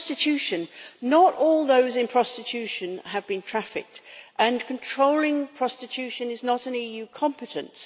Prostitution not all those in prostitution have been trafficked and controlling prostitution is not an EU competence.